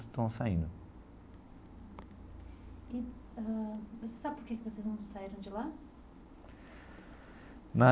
Estão saindo. E ãh você sabe por que que vocês não saíram de lá? Na.